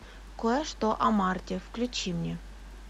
кое что о марте включи мне